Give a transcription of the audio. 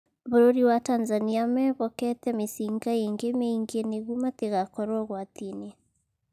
Bũrũri wa Tanzania mehokete mĩcinga ingĩ mĩingi nigo matigakorwo ugwati-ini